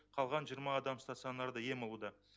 қалған жиырма адам стационарда ем алуда